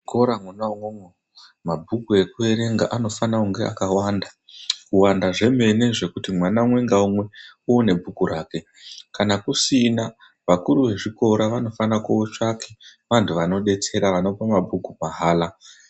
Muzvikora mwona umwomwo, mabhuku ekuerenga anofanira kunge akawanda, kuwanda zvemene zvekuti mwana umwe ngaumwe une bhuku rake. Kana kusina vakuru vezvikora vanofanira kootsvaka vantu vanodetsera vanopa mabhuku mahala.